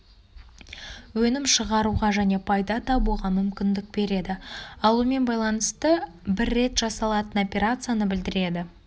өнім шығаруға және пайда табуға мүмкіндік береді алумен байланысты бір рет жасалатын операцияны білдіреді